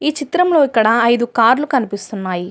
చిత్రం లో ఇక్కడ ఐదు కార్లు కమిపిస్తున్నాయి.